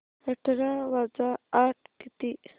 अठरा वजा आठ किती